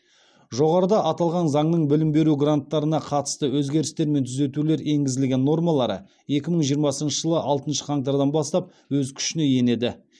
жоғарыда аталған заңның білім беру гранттарына қатысты өзгерістер мен түзетулер енгізілген нормалары екі мың жиырмасыншы жылғы алтыншы қаңтардан бастап өз күшіне енеді